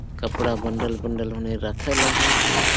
कपड़ा bundle -bundle हूनहे रखल अहय तो --